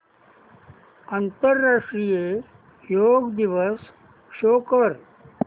आंतरराष्ट्रीय योग दिवस शो कर